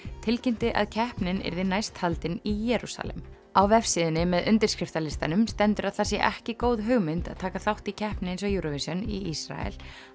tilkynnti að keppnin yrði næst haldin í Jerúsalem á vefsíðunni með undirskriftalistanum stendur að það sé ekki góð hugmynd að taka þátt í keppni eins og Eurovision í Ísrael